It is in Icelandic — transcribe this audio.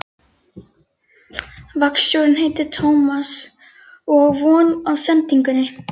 Vaktstjórinn heitir Tómas og á von á sendingunni.